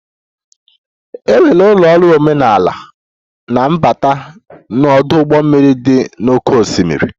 E nwere ụlọ ọrụ omenala na mbata na ọdụ ụgbọ mmiri dị n'oké osimiri.